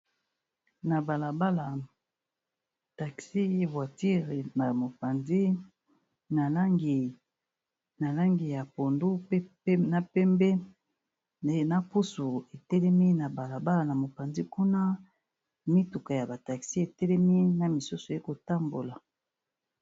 Na bala bala taxi voiture na mopanzi na langi ya pondu, na pembe. Na pusu etelemi na bala bala na mopanzi kuna mituka ya ba taxi etelemi na misusu eko tambola.